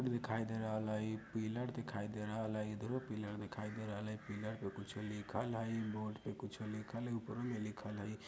दिखाई दे रहल हई पिलर दिखाई दे रहल हई इधरो पिलर दिखाई दे रहल हई पिलर पे कुछ लिखल हई बोर्ड पे कुछ लिखल हई ऊपर में लिखल हई।